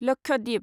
Lakshadweep